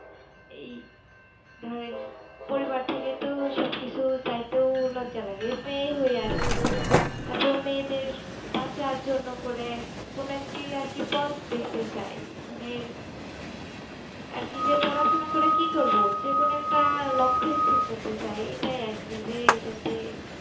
আর কি যে পড়া সোনা করে কি করবো যে কোনো একটা লক্ষ্য স্থির করতে চাই এইটা আর কি যেই যাতে